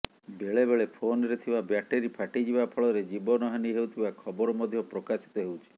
ବେଳେ ବେଳେ ଫୋନରେ ଥିବା ବ୍ୟାଟେରୀ ଫାଟିଯିବା ଫଳରେ ଜୀବନ ହାନୀ ହେଉଥିବା ଖବର ମଧ୍ୟ ପ୍ରକାଶିତ ହେଉଛି